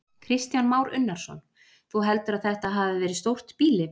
Kristján Már Unnarsson: Þú heldur að þetta hafi verið stórt býli?